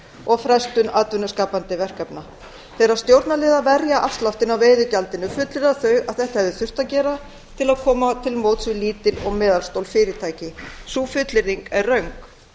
og frestun atvinnuskapandi verkefna þegar stjórnarliðar verja afsláttinn á veiðigjaldinu fullyrða þeir að þetta hefði þurft að gera til að koma til móts við lítil og meðalstór fyrirtæki sú fullyrðing er röng